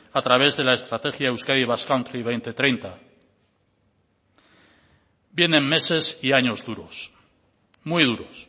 a través de la estrategia euskadi basque country dos mil treinta vienen meses y años duros muy duros